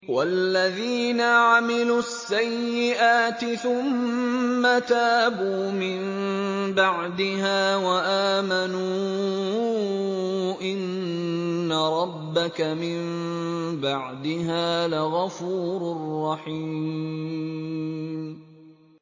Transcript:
وَالَّذِينَ عَمِلُوا السَّيِّئَاتِ ثُمَّ تَابُوا مِن بَعْدِهَا وَآمَنُوا إِنَّ رَبَّكَ مِن بَعْدِهَا لَغَفُورٌ رَّحِيمٌ